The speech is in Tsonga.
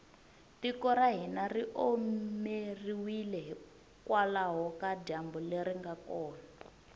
tiko ra hina ri omeriwile hikwalaho ka dyambu leri nga kona